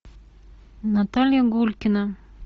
наталья гулькина